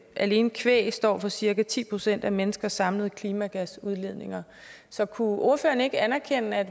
alene kvæg står for cirka ti procent af menneskers samlede klimagasudledninger så kunne ordføreren ikke anerkende at